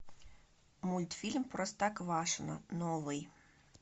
мультфильм простоквашино новый